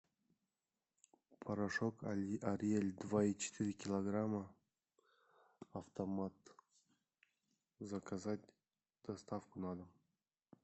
порошок ариэль два и четыре килограмма автомат заказать доставку на дом